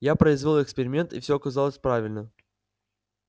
я произвёл эксперимент и всё оказалось правильно